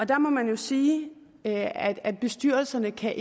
der må man jo sige at at bestyrelserne ikke kan